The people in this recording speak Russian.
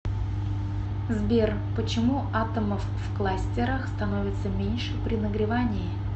сбер почему атомов в кластерах становится меньше при нагревании